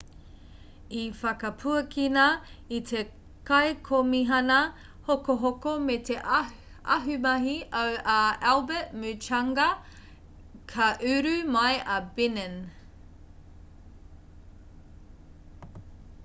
i whakapuakina e te kaikomihana hokohoko me te ahumahi au a albert muchanga ka uru mai a benin